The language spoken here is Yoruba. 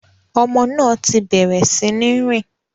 Ọmọ náà ti bẹ̀rẹ̀ sí ní rìn.